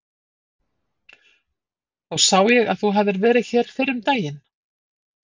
Þá sá ég að þú hafðir verið hér fyrr um daginn.